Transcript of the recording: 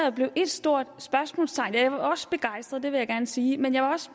og blev et stort spørgsmålstegn jeg var også begejstret det vil jeg gerne sige men jeg var også